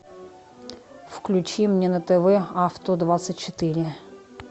включи мне на тв авто двадцать четыре